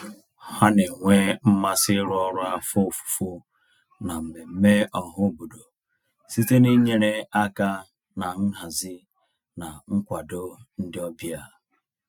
Ha na-enwe mmasị iru ọrụ afọ ofufo na mmemme ọhaobodo site n'inyere aka na nhazi na nkwado ndị ọbịa.